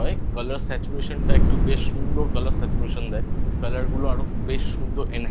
Colors Satuation একটু বেশ সুন্দর Colour Satuation দেয় Colour গুলো আরো বেশ সুন্দর